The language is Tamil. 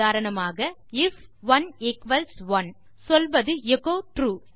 உதாரணமாக ஐஎஃப் 1 ஈக்வல்ஸ் 1 சொல்வது எச்சோ ட்ரூ